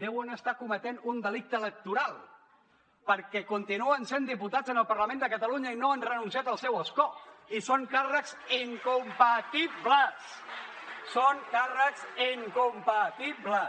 deuen estar cometent un delicte electoral perquè continuen sent diputats al parlament de catalunya i no han renunciat al seu escó i són càrrecs incompatibles són càrrecs incompatibles